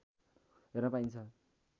हेर्न पाइन्छ